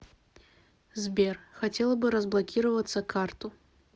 сбер хотела бы разблокироваться карту